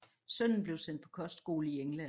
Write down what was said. Sønnen blev sendt på kostskole i England